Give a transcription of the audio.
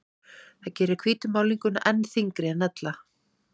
Það gerir hvítu málninguna enn þyngri en ella.